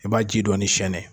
I b'a ji dɔɔnin siyɛnɛ.